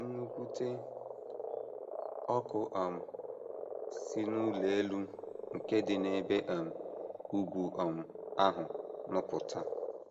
Nnukwute ọkụ um si n’ụlọ elu nke dị n’ebe um ugwu um ahụ nupụta.